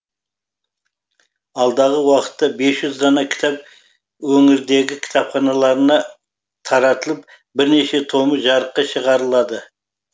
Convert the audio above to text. алдағы уақытта бес жүз дана кітап өңірдегі кітапханаларына таратылып бірнеше томы жарыққа шығарылады